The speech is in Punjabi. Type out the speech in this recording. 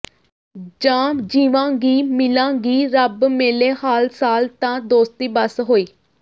ਜਾਂ ਜੀਵਾਂ ਗੀ ਮਿਲਾਂ ਗੀ ਰੱਬ ਮੇਲੇ ਹਾਲ ਸਾਲ ਤਾਂ ਦੋਸਤੀ ਬਸ ਹੋਈ